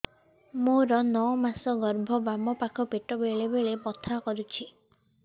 ମୋର ନଅ ମାସ ଗର୍ଭ ବାମ ପାଖ ପେଟ ବେଳେ ବେଳେ ବଥା କରୁଛି